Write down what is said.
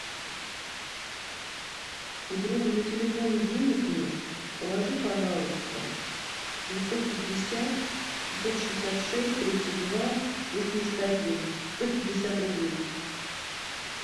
у друга на телефоне денег нет положи пожалуйста девятьсот пятьдесят шестьсот шестьдесят шесть тридцать два восемьдесят один сто пятьдесят рублей